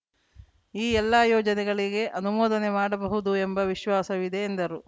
ಈ ಎಲ್ಲಾ ಯೋಜನೆಗಳಿಗೆ ಅನುಮೋದನೆ ಮಾಡಬಹುದು ಎಂಬ ವಿಶ್ವಾಸವಿದೆ ಎಂದರು